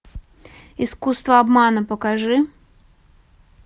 искусство обмана покажи